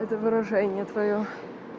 это выражение твоё